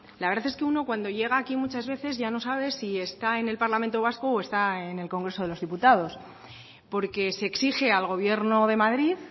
la verdad es que uno cuando llega aquí muchas veces ya no sabe si está en el parlamento vasco o está en el congreso de los diputados porque se exige al gobierno de madrid